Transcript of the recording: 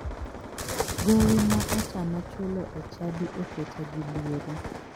Gowi ma otama chulo e chadi oketa gi luoro.